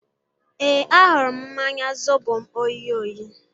Ee, ahụrụ m mmanya zobo m oyi oyi